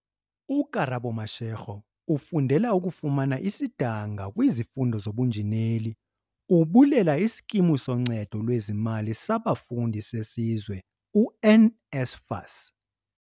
UKarabo Mashego ufundela ukufumana isidanga kwizifundo zobunjineli, ubulela iSkimu soNcedo lwezeZimali saBafundi seSizwe u-NSFAS.